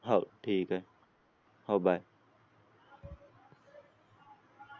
हाव ठीक आहे हाव bye